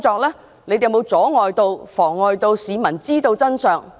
警方有沒有阻礙市民知道真相？